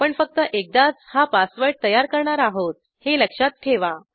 आपण फक्त एकदाच हा पासवर्ड तयार करणार आहोत हे लक्षात ठेवा